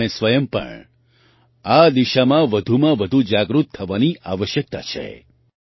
આપણે સ્વયં પણ આ દિશામાં વધુમાં વધુ જાગૃત થવાની આવશ્યકતા છે